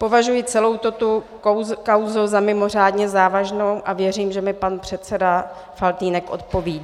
Považuji celou tuto kauzu za mimořádně závažnou a věřím, že mi pan předseda Faltýnek odpoví.